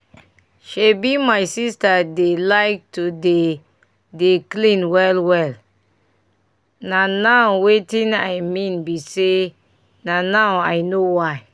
shebi my sister dey like to dey dey clean well well and na now wetin i mean bi say na now i know why